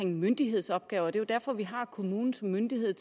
myndighedsopgaver det er derfor vi har kommunen som myndighed